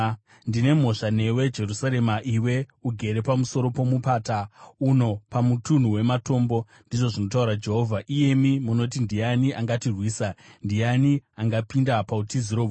Ndine mhosva newe, Jerusarema, iwe ugere pamusoro pomupata uno pamutunhu wematombo, ndizvo zvinotaura Jehovha, iyemi munoti, “Ndiani angatirwisa? Ndiani angapinda pautiziro hwedu?”